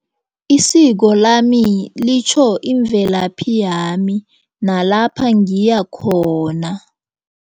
Isiko lami litjho imvelaphi yami nalapha ngiyakhona.